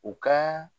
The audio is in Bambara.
U ka